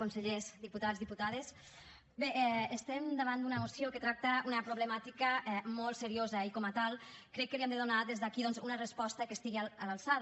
consellers diputats diputades bé estem davant d’una moció que tracta una problemàtica molt seriosa i com a tal crec que li hem de donar des d’aquí doncs una resposta que estigui a l’alçada